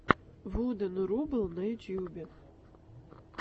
вуден рубл на ютубе